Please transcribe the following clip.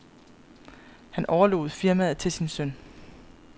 Han overlod firmaet til en søn.